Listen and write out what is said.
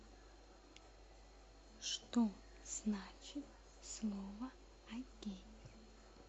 что значит слово окей